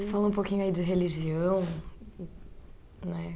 Você falou um pouquinho aí de religião, né?